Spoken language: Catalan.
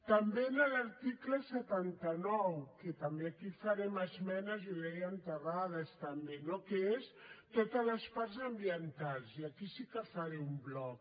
també en l’article setanta nou que també aquí farem esmenes i ho deia en terrades també no que són totes les parts ambientals i aquí sí que faré un bloc